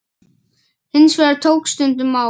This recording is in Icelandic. Hins vegar tók stundum á.